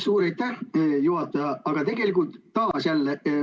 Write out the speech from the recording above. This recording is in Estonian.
Suur aitäh, juhataja!